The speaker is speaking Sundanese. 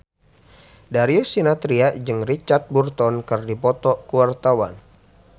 Darius Sinathrya jeung Richard Burton keur dipoto ku wartawan